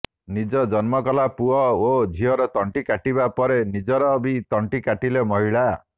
ନିଜ ଜନ୍ମକଲା ପୁଅ ଓ ଝିଅର ତଣ୍ଟି କାଟିବା ପରେ ନିଜର ବି ତଣ୍ଟି କାଟିଲେ ମହିଳା